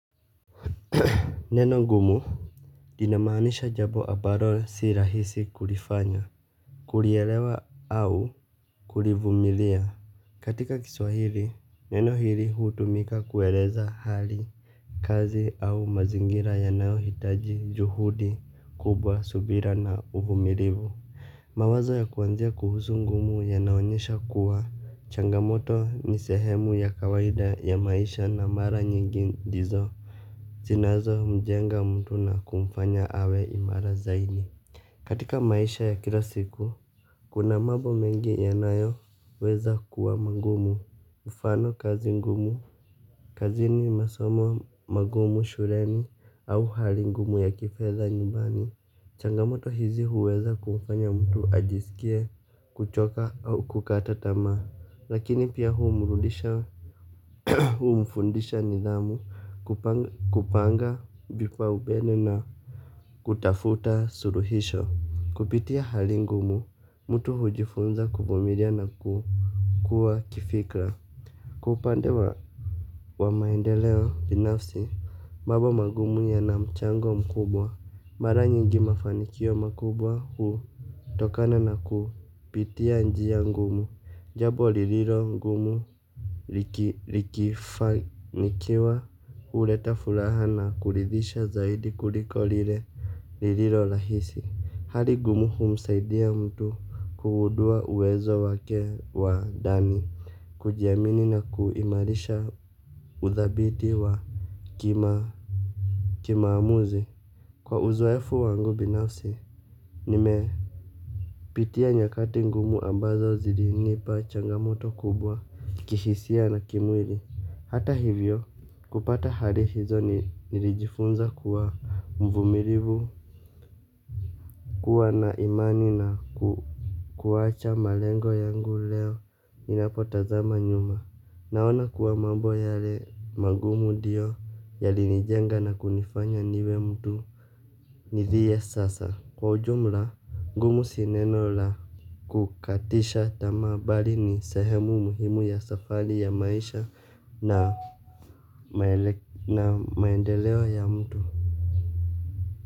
Neno gumu linamanisha jambo ambalo si rahisi kulifanya. Kulielewa au kulivumilia katika kiswahili neno hili hutumika kueleza hali. Kazi au mazingira ya nayo hitaji juhudi kubwa subira na uvumilivu. Mawazo ya kuanzia kuhusu ngumu ya naonyesha kuwa changamoto ni sehemu ya kawaida ya maisha na mara nyingi ndizo zinazo mjenga mtu na kumfanya awe imara zaidi. Katika maisha ya kila siku. Kuna mambo mengi yanayo weza kuwa magumu mfano kazi ngumu. Kazi ni masomo magumu shuleni au halingumu ya kifedha nyumbani. Changamoto hizi huweza kumfanya mtu ajisikie kuchoka au kukata tamaa. Lakini pia humrudisha humfundisha nidhamu. Kupanga vipa umbeni na kutafuta suluhisho. Kupitia hali ngumu, mtu hujifunza kuvumilia na kuwa kifikra. Kwa upande wa maendeleo binafsi, mambo magumu ya na mchango mkubwa. Mara nyingi mafanikio makubwa huu, tokana na kupitia njia ngumu. Jambo lililo ngumu likifanikiwa uleta furaha na kulidhisha zaidi kuliko lile lililo rahisi. Hali ngumuhu msaidia mtu kugundua uwezo wake wa ndani. Kujiamini na kuimarisha udhabiti wa Kima Kimaamuzi. Kwa uzoefu wangu binafsi. Nimepitia nyakati ngumu ambazo zilinipa changamoto kubwa kihisia na kimwili. Hata hivyo kupata hari hizo nilijifunza kuwa mvumilivu, kuwa na imani na kuacha malengo yangu leo inapotazama nyuma. Naona kuwa mambo yale magumu ndio yalinijenga na kunifanya niwe mtu. Niliiye sasa kwa ujumla ngumu sineno la kukatisha tamaa bali ni sehemu muhimu ya safari ya maisha na maendelewa ya mtu.